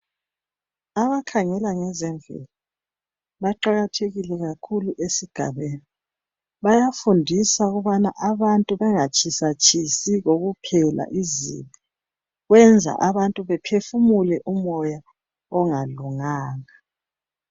Abakhangela ngezemvelo baqakathekise kakhulu esigabeni bayafundisa abantu ukubana bangatshisatshisi kokuphela iznto kwenza abantu bephefumule umoya ongalunganga